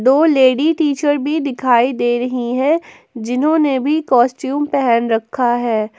दो lady teacher भी दिखाई दे रही है जिन्होंने भी कॉस्ट्यूम पहन रखा है।